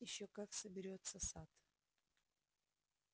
ещё как соберётся сатт